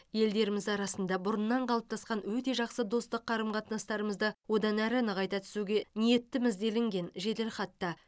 елдеріміз арасында бұрыннан қалыптасқан өте жақсы достық қарым қатынастарымызды одан әрі нығайта түсуге ниеттіміз делінген жеделхатта